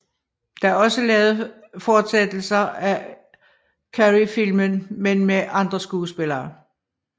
Der er også lavet fortsættelser af Carreyfilm men med andre skuespillere